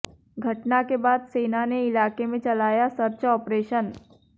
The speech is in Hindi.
घटना के बाद सेना ने इलाके में चलाया सर्च ऑपरेशन